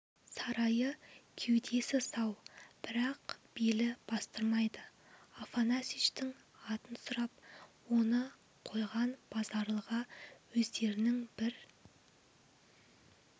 сарайы кеудесі сау бірақ белі бастырмайды афанасьичтің атын сұрап оны қойған базаралыға өздерінің бір